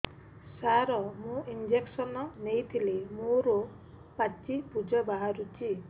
ସାର ମୁଁ ଇଂଜେକସନ ନେଇଥିଲି ମୋରୋ ପାଚି ପୂଜ ବାହାରୁଚି